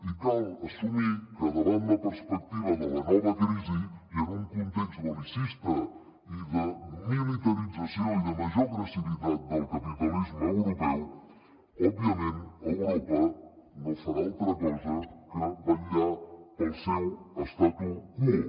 i cal assumir que davant la perspectiva de la nova crisi i en un context bellicista de militarització i de major agressivitat del capitalisme europeu òbviament europa no farà altra cosa que vetllar pel seu statu quo